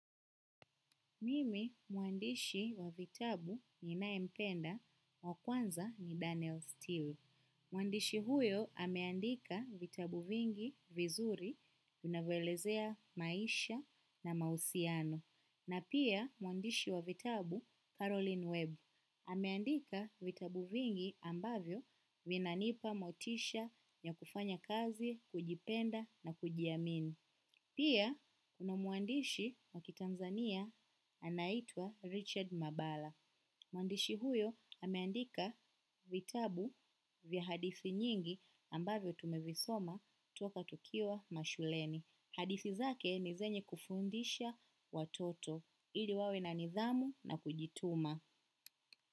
Mimi mwandishi wa vitabu ninaye mpenda wa kwanza ni Daniel Steele. Mwandishi huyo ameandika vitabu vingi vizuri vinavyo elezea maisha na mahusiano. Na pia mwandishi wa vitabu Caroline Webb. Ameandika vitabu vingi ambavyo vinanipa motisha ya kufanya kazi, kujipenda na kuji amini. Pia, kuna mwandishi wakitanzania anaitwa Richard Mabala. Mwandishi huyo ameandika vitabu vya hadithi nyingi ambavyo tumevisoma toka tukiwa mashuleni. Hadithi zake ni zenye kufundisha watoto. Ili wawe na nidhamu na kujituma.